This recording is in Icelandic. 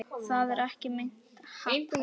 Það er ekki meint athæfi.